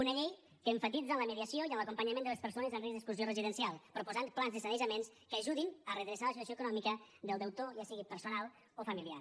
una llei que emfatitza en la mediació i en l’acompanyament de les persones amb risc d’exclusió residencial proposant plans de sanejaments que ajudin a redreçar la situació econòmica del deutor ja sigui personal o familiar